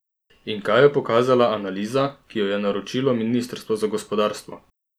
In kaj je pokazala analiza, ki jo je naročilo ministrstvo za gospodarstvo?